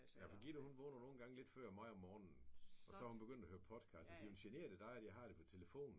Ja for Gitte hun vågner nogle gange lidt før mig om morgenen. Så er hun begyndt at høre podcast og så siger hun generer det dig at jeg har det på telefonen